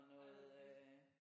Nej hvor fedt